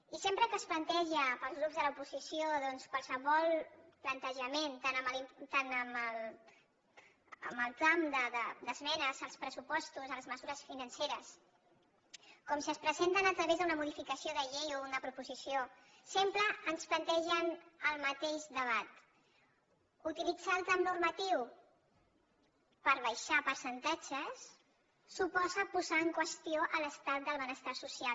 i sempre que es planteja pels grups de l’oposició doncs qualsevol plantejament tant en el tram d’esmenes als pressupostos a les mesures financeres com si es presenten a través d’una modificació de llei o una proposició sempre ens plantegen el mateix debat utilitzar el tram normatiu per abaixar percentatges suposa posar en qüestió l’estat del benestar social